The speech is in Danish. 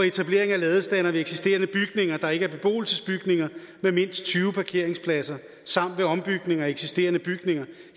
etablering af ladestandere ved eksisterende bygninger der ikke er beboelsesbygninger med mindst tyve parkeringspladser samt ved ombygning af eksisterende bygninger